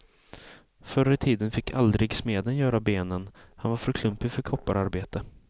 Förr i tiden fick aldrig smeden göra benen, han var för klumpig för koppararbete.